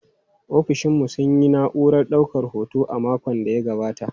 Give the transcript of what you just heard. Ofishin mu sun sayi na'urar daukar hoto a makon da ya gabata.